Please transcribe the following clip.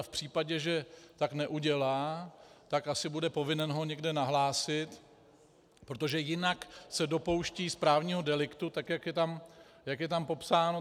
A v případě, že tak neudělá, tak asi bude povinen ho někde nahlásit, protože jinak se dopouští správního deliktu, tak jak je tam popsáno.